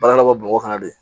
Baara dɔ bɔ bɔgɔ kɔnɔ de